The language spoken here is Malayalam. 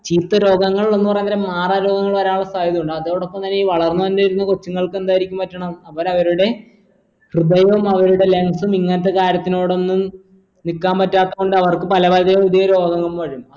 ചീത്ത രോഗങ്ങൾ എന്നു പറയാൻ നേരം മാറാ രോഗങ്ങൾ വരാനുള്ള സാധ്യതയുണ്ട് അതോടപ്പം തന്നെ ഈ വളർന്നു വരുന്നരുന്ന കൊച്ചുങ്ങൾക്ക് എന്തായിരിക്കും പറ്റണെ അവർ അവരുടെ ഹൃദയോം അവരുടെ lungs ഉം ഇങ്ങനത്തെ കാര്യത്തിനോടന്നും നിക്കാൻ പറ്റാത്തോണ്ട് അവർക്ക് പല പല പുതിയ രോഗങ്ങൾ വരും